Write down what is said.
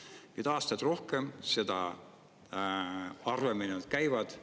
Nüüd on neil aastaid rohkem ja seda harvemini nad käivad.